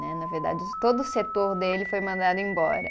Né, na verdade, todo o setor dele foi mandado embora.